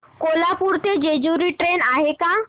कोल्हापूर ते जेजुरी ट्रेन आहे का